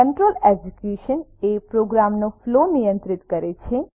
control execution એ પ્રોગ્રામનો flow નિયંત્રિત કરે છે